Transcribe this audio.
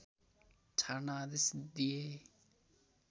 छाड्न आदेश दिए